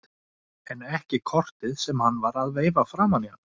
En ekki kortið sem hann var að veifa framan í hana!